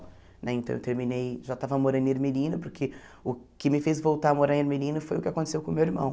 Né então eu terminei, já estava morando em Ermelino, porque o que me fez voltar a morar em Ermelino foi o que aconteceu com o meu irmão.